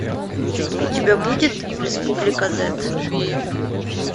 у тебя будет республика зэт